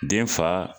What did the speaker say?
Den fa